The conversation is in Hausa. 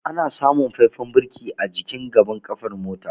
Ana samun faifan birki a jikin gafen kafar mota.